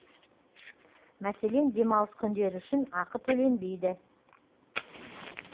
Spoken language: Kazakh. мәселен демалыс күндері үшін ақы төленбейді